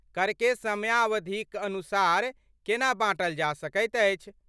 करकेँ समयावधिक अनुसार केना बाँटल जा सकैत अछि?